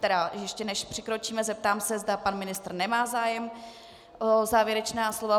Tedy ještě než přikročíme, zeptám se, zda pan ministr nemá zájem o závěrečné slovo.